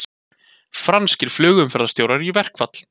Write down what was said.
Franskir flugumferðarstjórar í verkfall